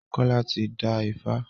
Kola tí dá ifá.